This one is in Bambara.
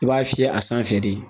I b'a fiyɛ a sanfɛ de